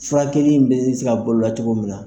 Furakɛli in bɛ se ka boloda cogo min na